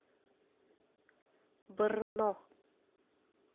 брно